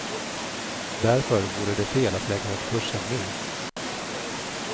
Därför vore det fel att lägga om kursen nu.